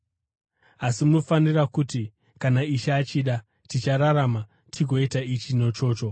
Asi, munofanira kuti, “Kana Ishe achida, tichararama tigoita ichi nechocho.”